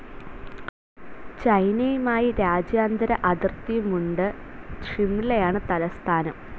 ചൈനയുമായി രാജ്യാന്തര അതിർത്തിയുമുണ്ട് ഷിംലയാണ് തലസ്ഥാനം.